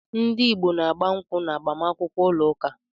Ndị Igbo na-agba nkwụ́ na agbamakwụkwọ ụlọ ụka.